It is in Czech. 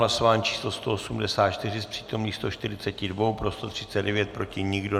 Hlasování číslo 184, z přítomných 142 pro 139, proti nikdo.